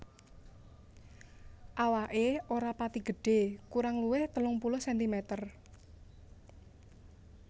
Awaké ora pati gedhé kurang luwih telung puluh sentimeter